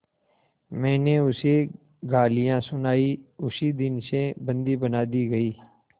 मैंने उसे गालियाँ सुनाई उसी दिन से बंदी बना दी गई